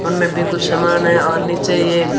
उनमें भी कुछ सामान है और नीचे ये--